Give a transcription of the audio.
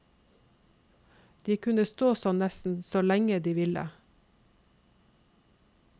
De kunne stå sånn nesten så lenge de ville.